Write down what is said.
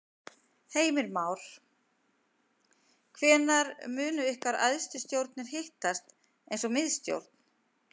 Heimir Már: Hvenær munu ykkar æðstu stjórnir hittast eins og miðstjórn?